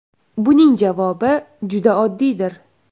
Buning javobi juda oddiydir.